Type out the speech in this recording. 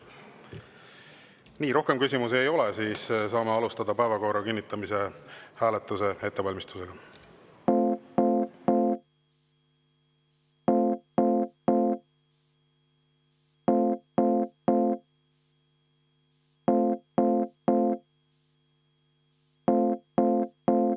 Nii, rohkem küsimusi ei ole, siis saame alustada päevakorra kinnitamise hääletuse ettevalmistust.